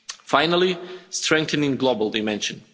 Finally, strengthening the global dimension.